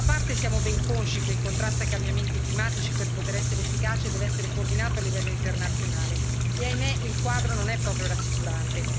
Quindi, da una parte, siamo ben consci che il contrasto ai cambiamenti climatici per poter essere efficace deve essere coordinato a livello internazionale e, ahimè, il quadro non è proprio rassicurante.